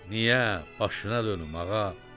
Niyə, başına dönüm, ağa?